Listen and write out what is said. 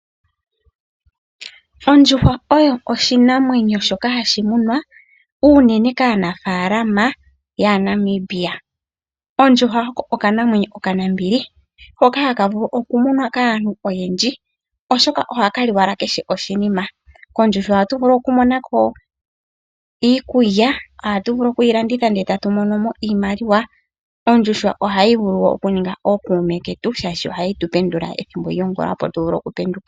Ondjuhwa oyo oshinamwenyo shoka hashi munwa unene kaanafaalama yaaNamibia. Ondjuhwa oko okanamwenyo okanambili hoka haka vulu okumunwa kaantu oyendji, oshoka ohaka li owala kehe oshinima. Kondjuhwa ohatu vulu okumona ko iikulya, ohatu vulu okuyi landitha ndele tatu mono mo iimaliwa. Ondjuhwa ohayi vulu okuninga ookuume ketu, oshoka ohayi tu pendula ethimbo lyongula, opo tu vule okupenduka.